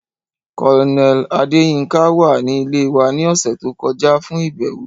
Colonel Adeyinka wa ni ile wa ni ọsẹ to kọja fun ibẹwo.